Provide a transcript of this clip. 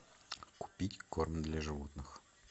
купить корм для животных